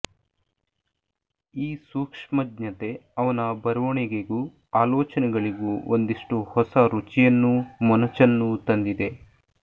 ಈ ಸೂಕ್ಷ್ಮಜ್ಞತೆ ಅವನ ಬರವಣಿಗೆಗೂ ಆಲೋಚನೆಗಳಿಗೂ ಒಂದಿಷ್ಟು ಹೊಸ ರುಚಿಯನ್ನೂ ಮೊನಚನ್ನೂ ತಂದಿದೆ